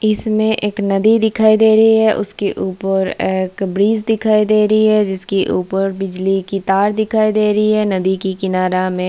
इसमें एक नदी दिखाई दे रही है उसके ऊपर एक ब्रिज दिखाई दे रही है जिसके ऊपर बिजली की तार दिखाई दे रही है नदी की किनारा में --